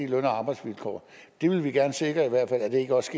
løn og arbejdsvilkår det vil vi gerne sikre i hvert fald ikke også